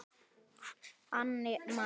Hann lá inni!